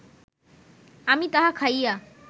আমি তাহা খাইয়া